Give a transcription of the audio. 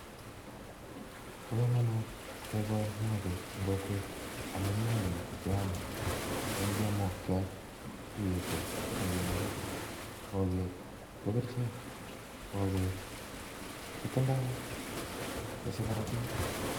Bo komonut kegol mogoo en kokwet, amun mogeek keame, ak ingiam mogiot keyetu ak kener, mogeek ko kerichel ak kotese korotiik